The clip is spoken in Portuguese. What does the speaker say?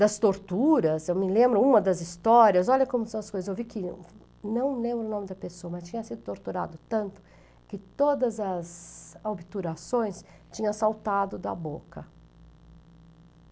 Das torturas, eu me lembro, uma das histórias, olha como são as coisas, eu vi que, não lembro o nome da pessoa, mas tinha sido torturado tanto que todas as obturações tinha saltado da boca.